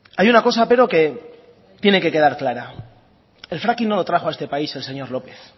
hay una cosa pero que tiene que quedar clara el fracking no lo trajo a este país el señor lópez